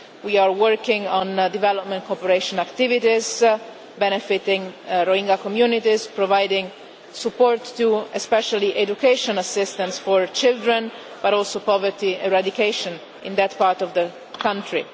We are working on development cooperation activities benefiting Rohingya communities, providing support especially to education assistance for children, but also poverty eradication in that part of the country.